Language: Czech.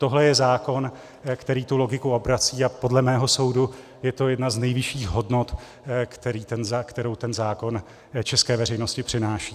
Tohle je zákon, který tu logiku obrací, a podle mého soudu je to jedna z nejvyšších hodnot, kterou ten zákon české veřejnosti přináší.